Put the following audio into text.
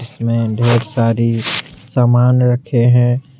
में ढेर सारी सामान रखे हैं।